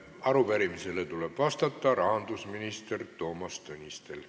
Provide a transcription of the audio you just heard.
Arupärimisele tuleb vastata rahandusminister Toomas Tõnistel.